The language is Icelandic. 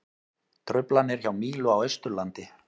Truflanir hjá Mílu á Austurlandi